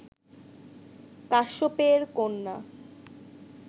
কাশ্যপেয়ের কন্যা